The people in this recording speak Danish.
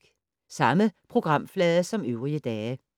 Samme programflade som øvrige dage